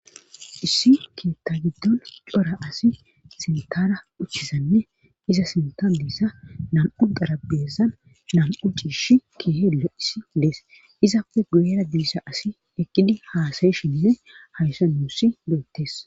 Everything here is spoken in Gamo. Issi keetta giddon cora asi sintara uchizanne iza sintan bissa nam7u darabeessan nam7u ciish kiheeduya issi dees izappe guera diissa asi ekkidi haasaye shinne hayssa nuuss doottes.